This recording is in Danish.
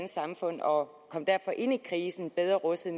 samfund og kom derfor ind i krisen bedre rustet